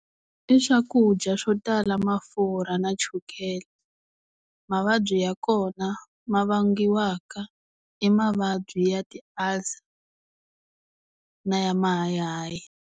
I swakudya swo tala mafurha na chukele mavabyi ya kona ma vangiwaka i mavabyi ya ti-ulcer na ya mahayihayi.